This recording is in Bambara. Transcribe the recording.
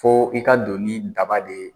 Fo i ka don ni daba de ye